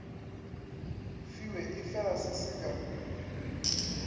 fiwe efela se se ka